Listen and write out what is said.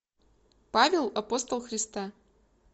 павел апостол христа